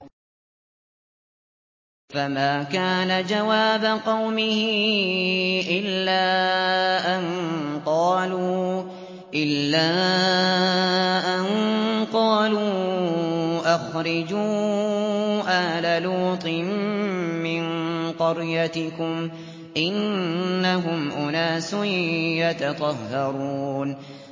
۞ فَمَا كَانَ جَوَابَ قَوْمِهِ إِلَّا أَن قَالُوا أَخْرِجُوا آلَ لُوطٍ مِّن قَرْيَتِكُمْ ۖ إِنَّهُمْ أُنَاسٌ يَتَطَهَّرُونَ